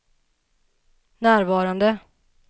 närvarande